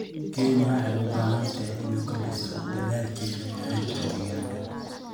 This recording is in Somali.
Kenya waxay u baahan tahay inay kordhiso dadaalkeeda ilaalinta deegaanka.